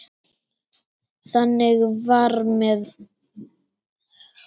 Þannig var það með mömmu.